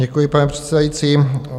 Děkuji, pane předsedající.